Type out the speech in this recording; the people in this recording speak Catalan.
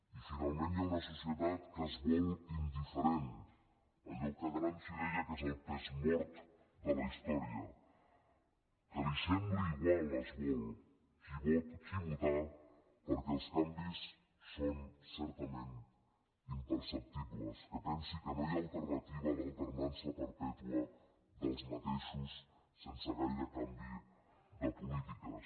i finalment hi ha una societat que es vol indiferent allò que gramsci deia que és el pes mort de la història que li sembli igual es vol qui votar perquè els canvis són certament imperceptibles que pensi que no hi ha alternativa a l’alternança perpètua dels mateixos sense gaire canvi de polítiques